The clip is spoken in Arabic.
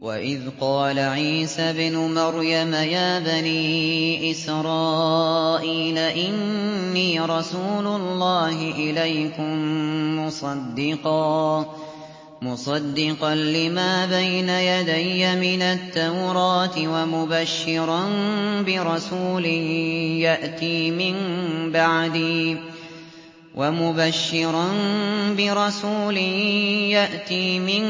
وَإِذْ قَالَ عِيسَى ابْنُ مَرْيَمَ يَا بَنِي إِسْرَائِيلَ إِنِّي رَسُولُ اللَّهِ إِلَيْكُم مُّصَدِّقًا لِّمَا بَيْنَ يَدَيَّ مِنَ التَّوْرَاةِ وَمُبَشِّرًا بِرَسُولٍ يَأْتِي مِن